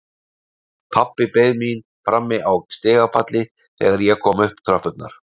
Pabbi beið mín frammi á stigapalli þegar ég kom upp tröppurnar.